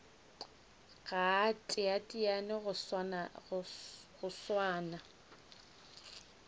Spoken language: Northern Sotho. ga a teteane go swana